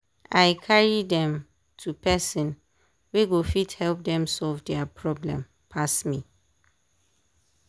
i carry dem to person wey go fit help dem solve dia problem pass me.